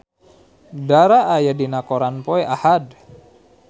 Dara aya dina koran poe Ahad